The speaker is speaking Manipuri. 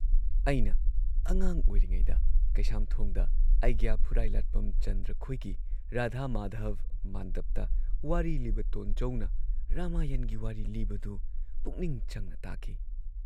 ꯑꯩꯅ ꯑꯉꯥꯡ ꯑꯣꯏꯔꯤꯉꯩꯗ ꯀꯩꯁꯥꯝꯊꯣꯡꯗ ꯑꯩꯒ꯭ꯌꯥ ꯐꯨꯔꯥꯏꯂꯥꯠꯄꯝ ꯆꯟꯗ꯭ꯔꯈꯣꯏꯒꯤ ꯔꯥꯙꯥ ꯃꯥꯙꯕ ꯃꯥꯟꯗꯕꯇ ꯋꯥꯔꯤ ꯂꯤꯕ ꯇꯣꯟꯆꯧꯅ ꯔꯃꯥꯌꯟꯒꯤ ꯋꯥꯔꯤ ꯂꯤꯕꯗꯨ ꯄꯨꯛꯅꯤꯡ ꯆꯪꯅ ꯇꯥꯈꯤ ꯫